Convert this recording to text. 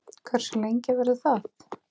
Hversu lengi verður það?